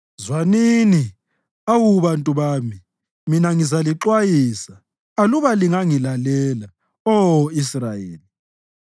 Zwanini, awu bantu bami, mina ngizalixwayisa aluba lingangilalela, Oh Israyeli!